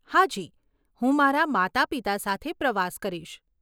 હાજી, હું મારા માતા પિતા સાથે પ્રવાસ કરીશ.